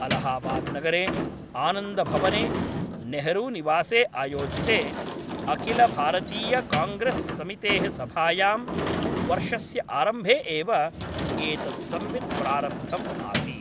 अलाहाबाद् नगरे आनन्दभवने नेहरूनिवासे आयोजिते अखिलभारतीयकाङ्ग्रेस् समितेः सभायां वर्षस्य आरम्भे एव एतत् संवित् प्रारब्धम् आसीत्।